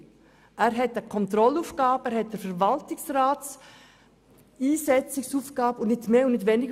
Er hat zwar eine Kontrollaufgabe und die Aufgabe, den Verwaltungsrat einzusetzen, jedoch nicht mehr und nicht weniger.